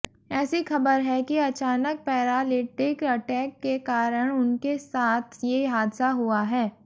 ऐसी खबर है कि अचानक पैरालिटिक अटैक के कारण उनके साथ ये हादसा हुआ है